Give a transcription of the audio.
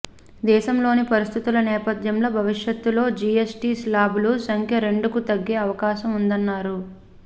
దేశంలోని పరిస్థితుల నేపథ్యంలో భవిష్యత్లో జీఎస్టీ శ్లాబుల సంఖ్య రెండుకు తగ్గే అవకాశం ఉందన్నారు